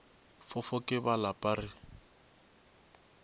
fofo ke ba lapa re